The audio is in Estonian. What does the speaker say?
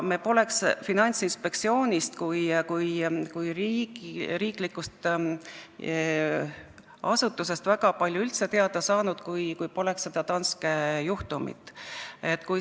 Me poleks Finantsinspektsioonist kui riiklikust asutusest väga palju üldse teada saanudki, kui poleks olnud seda Danske juhtumit.